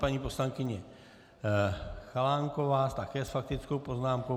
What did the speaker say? Paní poslankyně Chalánková také s faktickou poznámkou.